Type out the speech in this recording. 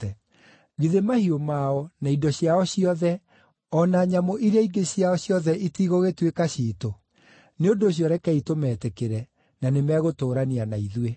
Githĩ mahiũ mao, na indo ciao ciothe, o na nyamũ iria ingĩ ciao ciothe itigũgĩtuĩka ciitũ? Nĩ ũndũ ũcio rekei tũmetĩkĩre, na nĩ megũtũũrania na ithuĩ.”